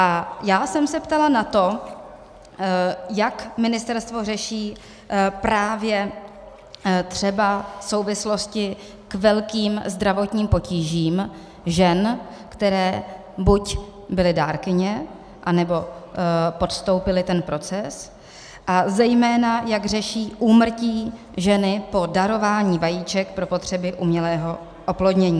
A já jsem se ptala na to, jak ministerstvo řeší právě třeba souvislosti k velkým zdravotním potížím žen, které buď byly dárkyně, anebo podstoupily ten proces, a zejména, jak řeší úmrtí ženy po darování vajíček pro potřeby umělého oplodnění.